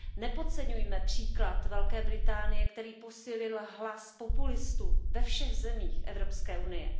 Nepodceňujme příklad Velké Británie, který posílil hlas populistů ve všech zemích Evropské unie.